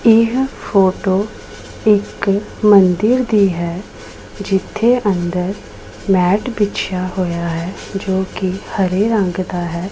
ਇਹ ਫੋਟੋ ਇਕ ਮੰਦਿਰ ਦੀ ਹੈ ਜਿੱਥੇ ਅੰਦਰ ਮੈਟ ਬਿਛਿਆ ਹੋਇਆ ਹੈ ਜੋ ਕਿ ਹਰੇ ਰੰਗ ਦਾ ਹੈ।